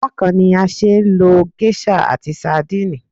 Bákan ni a ṣeé lo geiṣa àti sandínì